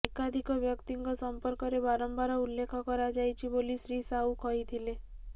ଏକାଧିକ ବ୍ୟକ୍ତିଙ୍କ ସଂପର୍କରେ ବାରମ୍ବାର ଉଲ୍ଲେଖ କରାଯାଇଛି ବୋଲି ଶ୍ରୀ ସାହୁ କହିଥିଲେ